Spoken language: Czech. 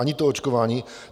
Ani to očkování.